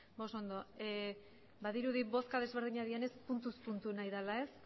oso ondo badirudi bozka desberdinak direnez puntuz puntu nahi dela ez